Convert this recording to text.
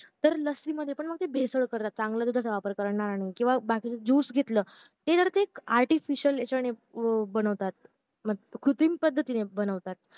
तर लस्सी मध्ये पण ते भेसळ करता चांगल्या दुधाचा वापर करणार नाही किंवा बाकीचं juice घेतला ते ना ते artificial याचने बनावता अं कृत्रिम पद्धतीने बनवता